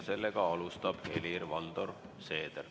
Seda alustab Helir-Valdor Seeder.